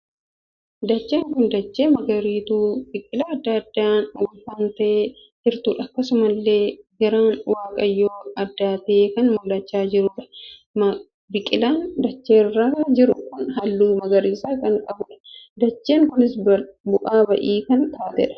Dacheen kun dachee magariituu biqilaa addaa addaan uffatee jirtuudha. akkasumallee garaan waaqayyoo addaatee kan mul'achaa jiruudha. biqilaan dachee kan irraa jiru kun halluu magariisa kan qabuudha. dacheen kun bu'aa ba'ii kan taateedha. dachee kana keessa wantoota addaa addaatu argamaa jira.